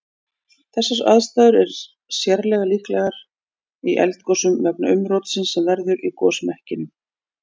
Þessar aðstæður er sérlega líklegar í eldgosum vegna umrótsins sem verður í gosmekkinum.